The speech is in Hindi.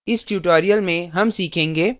इस tutorial में हम सीखेंगे